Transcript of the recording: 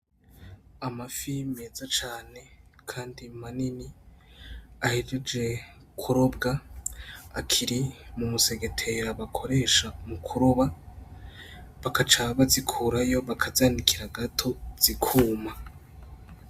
Amafi meza cane kandi manini ahejeje kurobwa akiri mu musegetera bakoresha mu kuroba bagaca bazikurayo bakazanikira gato zikuma.